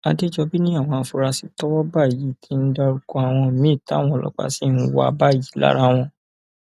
àdẹjọbí ni àwọn afurasí tọwọ bá yìí ti ń dárúkọ àwọn míín táwọn ọlọpàá sì ń wá báyìí lára wọn